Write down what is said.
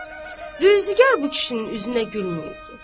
ruzigar bu kişinin üzünə gülməyibdi.